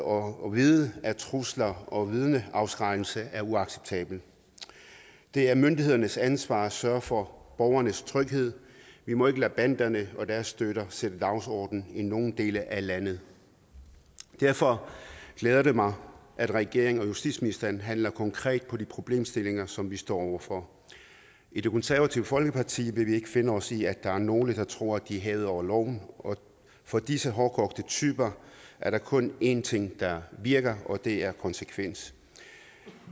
og vide at trusler og vidneafskrækkelse er uacceptabelt det er myndighedernes ansvar at sørge for borgernes tryghed vi må ikke lade banderne og deres støtter sætte dagsordenen i nogen dele af landet derfor glæder det mig at regeringen og justitsministeren handler konkret på de problemstillinger som vi står over for i det konservative folkeparti vil vi ikke finde os i at der er nogle der tror at de er hævet over loven for disse hårdkogte typer er der kun én ting der virker og det er konsekvens